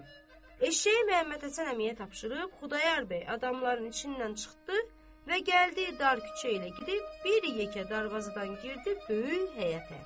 Eşşəyi Məhəmməd Həsən əmiyə tapşırıb Xudayar bəy adamların içindən çıxdı və gəldi dar küçə ilə gedib bir yekə darvazadan girdi böyük həyətə.